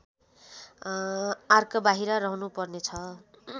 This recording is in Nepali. आर्कबाहिर रहनुपर्नेछ